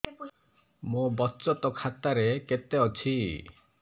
ମୋ ବଚତ ଖାତା ରେ କେତେ ଅଛି